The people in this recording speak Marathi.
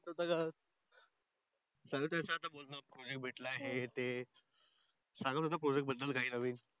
तो सांगत होता Project भेटला हे ते सांगत होता Project बद्दल काही नवीन